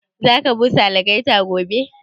Za ka busa algaita gobe?